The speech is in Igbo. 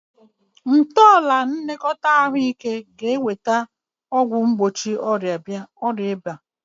Ntọala nlekọta ahụike ga-eweta ọgwụ mgbochi ọrịa ịba